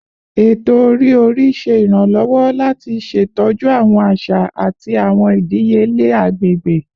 Eto-ori-ori ṣe iranlọwọ lati ṣetọju awọn aṣa ati awọn idiyele agbegbe